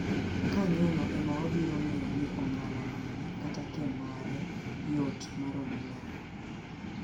kanyono ema wabiro ng'eyo ni ong'ala mane kata kee mare yot maromo nade.